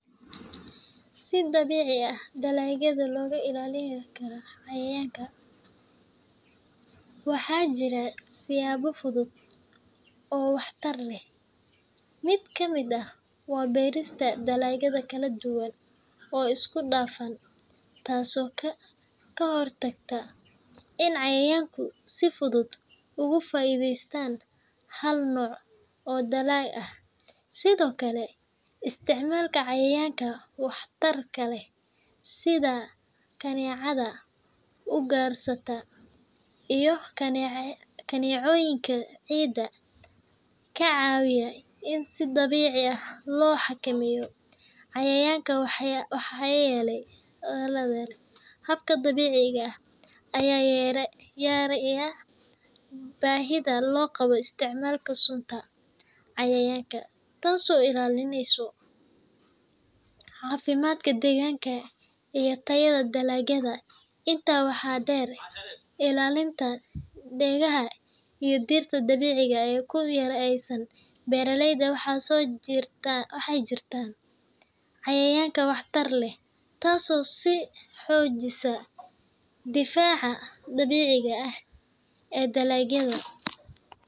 Si dabeeci aah dalagyada loga ilalinikara cayayanga , waxa jirah siyabo futhut oo waxtar leeh mitkamit aah wa beriska dalagyada kaladuwan oo iskudafan taaso kahortagto in cayayangu si futhut ugu faitheysatan Hal nooc oo dalay ah, sethokali isticmalka cayayanga waxtarkalrh setha kanicatha ugarsatoh iyo kanecyatha ceeyda kacawiyah in si deebeci loxakameetoh, cayayanga waxayeelay habka dabeceika Aya yeeray baahitha lo Qaboh isticmalka sunta cayayanga, taaso ilalineysoh cafimadka daganga iyo tayada dalagyada inta waxa deer ilalinta deegah iyo dabeceika oo kuyaloh aysan beraleyda waxayjirtan cayayanga waxtar leeh taaso si xoojisah defaca dabeceika ah ee dalagyada.